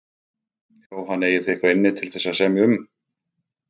Jóhann: Eigið þið eitthvað inni til þess að semja um?